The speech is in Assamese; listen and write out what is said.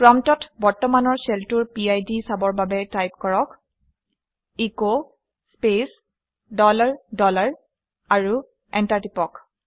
প্ৰম্পটত বৰ্তমানৰ শ্বেলটোৰ পিড চাবৰ বাবে টাইপ কৰক - এচ স্পেচ ডলাৰ ডলাৰ আৰু এণ্টাৰ টিপি দিয়ক